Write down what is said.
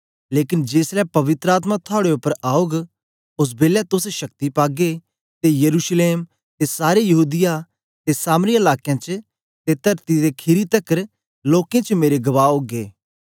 लेकन जेसलै पवित्र आत्मा थुआड़े उपर औग ओस बेलै तोस शक्ति पागे ते यरूशलेम ते सारे यहूदीया ते सामरिया लाकें च ते तरती दे खीरी तकर लोकें च मेरे गवाह ओगे